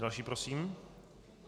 Další prosím.